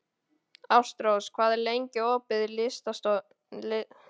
Ástrós, hvað er lengi opið í Listasafninu?